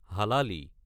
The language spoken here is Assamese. হালালী